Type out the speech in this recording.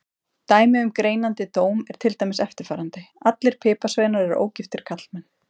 Dæmi um greinandi dóm er til dæmis eftirfarandi: Allir piparsveinar eru ógiftir karlmenn.